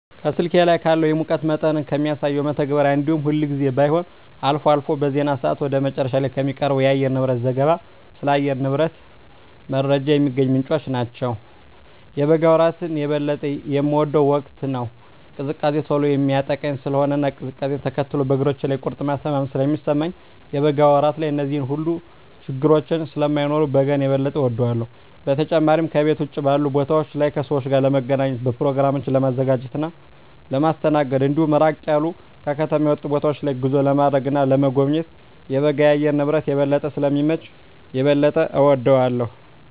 ከስልኬ ላይ ካለው የሙቀት መጠንን ከሚያሳሰው መተግበሪያ እንዲሁም ሁልጊዜም ባይሆን አልፎ አልፎ በዜና ሰአት ወደ መጨረሻ ላይ ከሚቀርበው የአየርንብረት ዘገባ ስለ አየር ንብረት ጀመረ የሚገኝባቸው ምንጮች ናቸው። የበጋ ወራት የበለጠ የምወደው ወቅት ነው። ቅዝቃዜ ቶሎ የሚያጠቃኝ ስለሆነ እና ቅዝቃዜውነ ተከትሎ በእግሮቼ ላይ የቁርጥማት ህመም ስለሚሰማኝ የበጋ ወራት ላይ እነዚህ ሁሉ ችግረኞች ስለማይኖሩ በጋን የበጠ እወዳለሁ። በተጨማሪም ከቤት ውጭ ባሉ ቦታወች ላይ ከሰወች ጋር ለመገናኘት፣ በኘሮግራሞችን ለማዘጋጀት እና ለማስተናገድ እንዲሁም ራቅ ያሉ ከከተማ የወጡ ቦታወች ላይ ጉዞ ለማድረግ እና ለመጎብኘት የበጋ የአየር ንብረት የበለጠ ስለሚመች የበለጠ እወደዋለሁ።